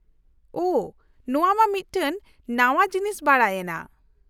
-ᱳᱦ ! ᱱᱚᱶᱟ ᱢᱟ ᱢᱤᱫᱴᱟᱝ ᱱᱟᱶᱟ ᱡᱤᱱᱤᱥ ᱵᱟᱰᱟᱭᱮᱱᱟ ᱾